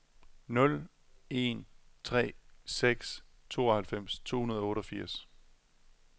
nul en tre seks tooghalvfems to hundrede og otteogfirs